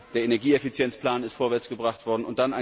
Der Energieeffizienzplan ist vorwärts gebracht worden.